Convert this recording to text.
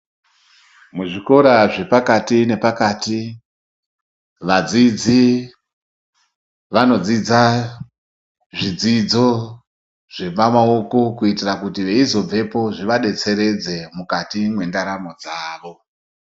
Muzvikora zvepakati nepakati vadzidzi vanodzidza zvidzidzo zvepamaoko kuitiira kuti vezoibvepo zvivadetseredze mukati mwendaramo dzavo.